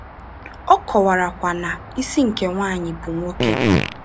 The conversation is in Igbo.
Ọ kọwara kwa na “isi nke nwanyị bụ nwoke.”